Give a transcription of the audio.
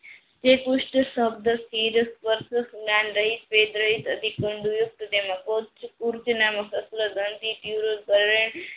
જે પુસઠ શબ્દ